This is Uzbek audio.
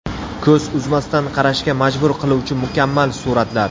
Ko‘z uzmasdan qarashga majbur qiluvchi mukammal suratlar.